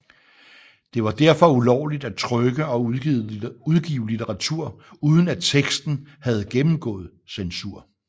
Det var derfor ulovligt at trykke og udgive litteratur uden at teksten havde gennemgået censur